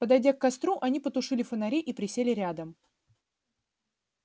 подойдя к костру они потушили фонари и присели рядом